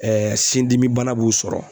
sin dimi bana b'u sɔrɔ